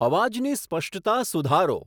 અવાજની સ્પષ્ટતા સુધારો